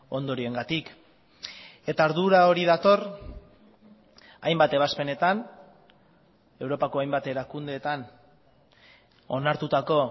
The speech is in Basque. ondorioengatik eta ardura hori dator hainbat ebazpenetan europako hainbat erakundeetan onartutako